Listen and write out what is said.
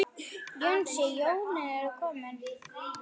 Jónsi, jólin eru komin.